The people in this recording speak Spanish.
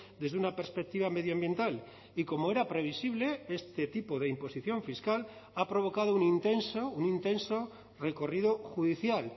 desde una perspectiva medioambiental y como era previsible este tipo de imposición fiscal ha provocado un intenso un intenso recorrido judicial